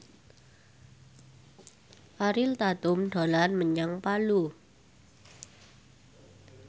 Ariel Tatum dolan menyang Palu